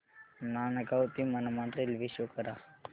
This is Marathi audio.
नांदगाव ते मनमाड रेल्वे शो करा